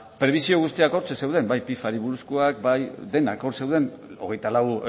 prebisio guztiak hortxe zeuden bai buruzkoak bai denak hor zeuden hogeita lau